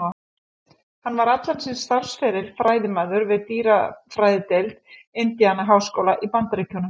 Hann var allan sinn starfsferil fræðimaður við dýrafræðideild Indiana-háskóla í Bandaríkjunum.